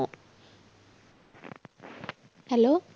Hello